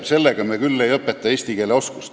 Sellega me küll eesti keelt ei õpeta!